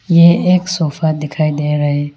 ये एक सोफा दिखाई दे रहा है।